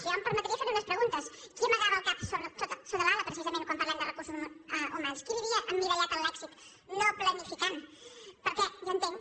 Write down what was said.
jo em permetria fer·li unes preguntes qui amagava el cap sota l’ala pre·cisament quan parlem de recursos humans qui vivia emmirallat en l’èxit no planificant perquè jo entenc